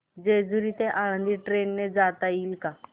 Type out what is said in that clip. जेजूरी ते आळंदी ट्रेन ने जाता येईल का